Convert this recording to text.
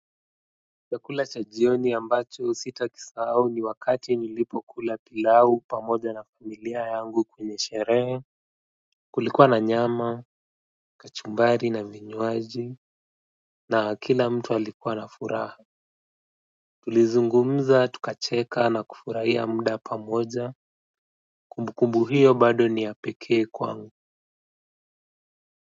Chakula cha jioni ambacho sitakisahau ni wakati nilipo kula pilau pamoja na familia yangu kwenye sherehe kulikuwa na nyama kachumbari na vinywaji na kila mtu alikuwa na furaha. Tulizungumza tukacheka na kufurahia muda pamoja kumbu kumbu hiyo bado ni ya pekee kwangu.